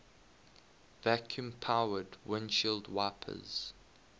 vacuum powered windshield wipers